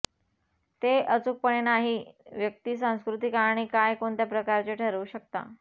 ते अचूकपणे नाही व्यक्ती सांस्कृतिक आणि काय कोणत्या प्रकारचे ठरवू शकता